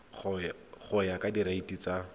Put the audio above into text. go ya ka direiti tsa